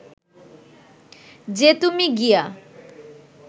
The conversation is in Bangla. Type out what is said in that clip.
যে তুমি গিয়া